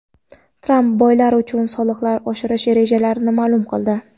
Tramp boylar uchun soliqlarni oshirish rejalarini ma’lum qildi.